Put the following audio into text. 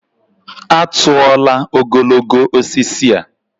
A tụọla ogologo osisi a.